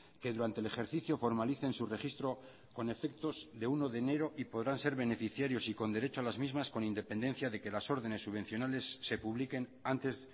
que durante el ejercicio formalicen su registro con efectos de uno de enero y podrán ser beneficiarios y con derecho a las mismas con independencia de que las ordenes subvencionales se publiquen antes